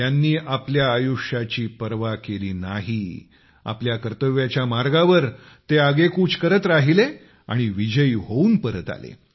त्यांनी आपल्या आयुष्याची पर्वा केली नाही आपल्या कर्तव्याच्या मार्गावर ते आगेकूच करत राहिले आणि विजयी होऊन परत आले